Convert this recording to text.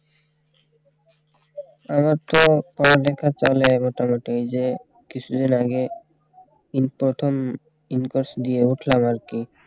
আমার তো পড়ালেখা চলে গোটাগুটি এই যে কিছুদিন আগে ইন প্রথম Incourse দিয়ে উঠলাম আর কি